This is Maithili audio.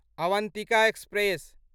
अवंतिका एक्सप्रेस